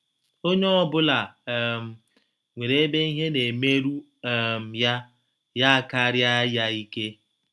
Onye ọbụla um nwere ebe ihe na - emeru um ya, ya akarịa ya ike.